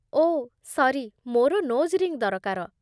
ଓଃ, sorry, ମୋର nose ring ଦରକାର ।